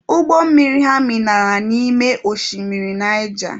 Ụgbọ mmiri ha minara n'ime oshimiri Naija